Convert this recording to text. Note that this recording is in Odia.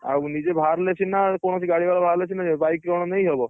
ଆଉ ନିଜେ ବାହାରିଲେ ସିନା କୌଣସି ଗାଡି ବାଲା ବାହାରିଲେ ସିନା ଜୀବି bike କଣ ନେଇହବ।